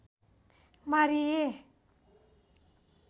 मारिए।